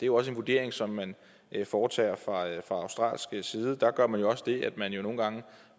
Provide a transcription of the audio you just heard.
jo også en vurdering som man foretager fra australsk side der gør man jo også det at man nogle gange